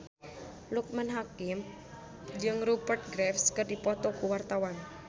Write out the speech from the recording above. Loekman Hakim jeung Rupert Graves keur dipoto ku wartawan